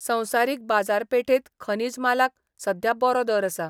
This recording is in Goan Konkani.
संवसारिक बाजारपेठेत खनिज मालाक सध्या बरो दर आसा.